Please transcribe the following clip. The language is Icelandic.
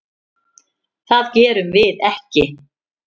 Það gerum við ekki.